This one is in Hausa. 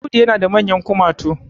Audu yana da manyan kumatu